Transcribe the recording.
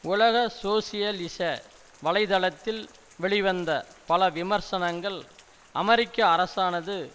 உலக சோசியலிச வலைத்தளத்தில் வெளிவந்த பல விமர்சனங்கள் அமெரிக்க அரசானது